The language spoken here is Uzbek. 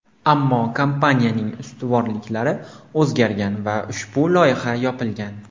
Ammo kompaniyaning ustuvorliklari o‘zgargan va ushbu loyiha yopilgan.